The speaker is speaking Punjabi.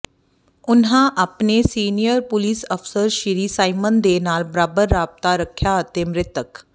ਉਨ੍ਹਾਂ ਆਪਣੇ ਸੀਨੀਅਰ ਪੁਲਿਸ ਅਫਸਰ ਸ੍ਰੀ ਸਾਇਮਨ ਦੇ ਨਾਲ ਬਰਾਬਰ ਰਾਬਤਾ ਰੱਖਿਆ ਅਤੇ ਮ੍ਰਿਤਕ ਸ